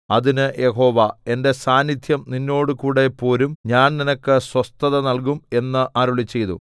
അതിന് യഹോവ എന്റെ സാന്നിദ്ധ്യം നിന്നോടുകൂടെ പോരും ഞാൻ നിനക്ക് സ്വസ്ഥത നൽകും എന്ന് അരുളിച്ചെയ്തു